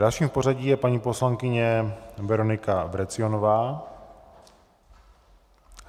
Dalším v pořadí je paní poslankyně Veronika Vrecionová.